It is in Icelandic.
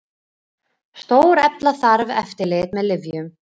Stórefla þarf eftirlit með lyfjum